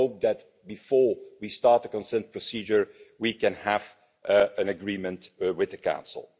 I hope that, before we start the consent procedure, we can have an agreement with the Council.